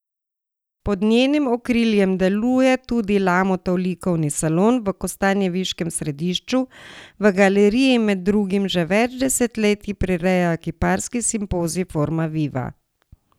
Pod njenim okriljem deluje tudi Lamutov likovni salon v kostanjeviškem središču, v galeriji med drugim že več desetletij prirejajo kiparski simpozij Forma viva.